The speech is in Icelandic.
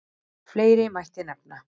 Fleira mætti nefna.